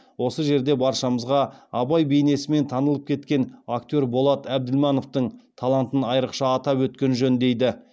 осы жерде баршамызға абай бейнесімен танылып кеткен актер болат әбділмановтың талантын айрықша атап өткен жөн